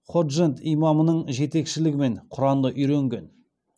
ходжент имамының жетекшілігімен құранды үйренген